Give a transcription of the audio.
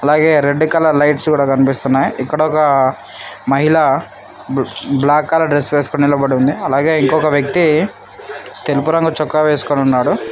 అలాగే red colour lights కూడా కనిపిస్తున్నాయి ఇక్కడ ఒక మహిళ బ్లాక్ కలర్ డ్రెస్ వేసుకుని నిలబడి ఉంది అలాగే ఇంకొక వ్యక్తి తెలుగు రంగు చొక్కా వేసుకుని ఉన్నాడు.